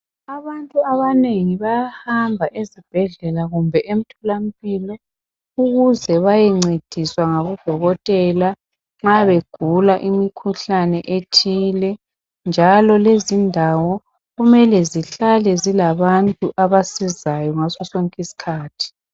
Abantu abanengi bayahamba ezibhedlela kumbe emtholampilo ukuze bayencediswa ngabodokotela nxa begula imkhuhlane ethile njalo lezi indawo kumele zihlale zilabantu abasizayo ngaso sonke isikhathi.